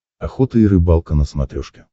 охота и рыбалка на смотрешке